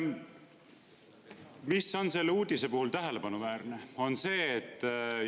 Mis on selle uudise puhul tähelepanuväärne?